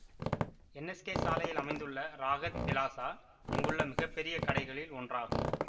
NSK சாலையில் அமைந்துள்ள Rahat plaza இங்குள்ள மிக பெரிய கடைகளில் ஒன்றாகும்